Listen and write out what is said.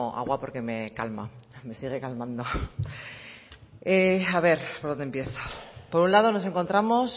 agua porque me calma me sigue calmando a ver por dónde empiezo por un lado nos encontramos